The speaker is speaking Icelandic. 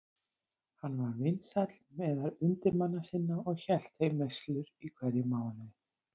Hann var vinsæll meðal undirmanna sinna og hélt þeim veislur í hverjum mánuði.